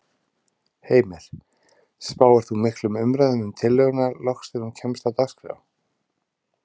Heimir: Spáir þú miklum umræðum um tillöguna loks þegar hún kemst á dagskrá?